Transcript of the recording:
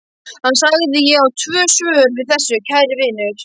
Hann sagði: Ég á tvö svör við þessu, kæri vinur